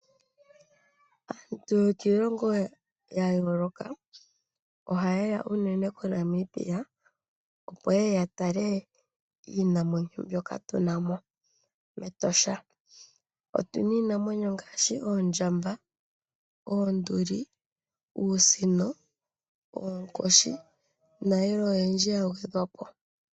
Aantu yokiilongo yayooloka ohayeya uunene koNamibia opo yeye yaale iinamwenyo mbyoka tunamo mEtosha, otuna iinamwenyo ngaashi oondjamba, oonduli, uusino, oonkoshi nayilwe oyindji ya uthilwako.